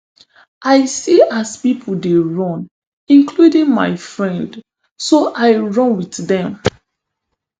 i see as pipo dey run including my friend so i run wit dem